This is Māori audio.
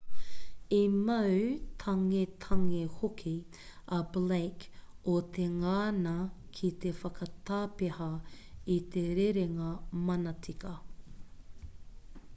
i mau tangetange hoki a blake o te ngana ki te whakatapeha i te rerenga manatika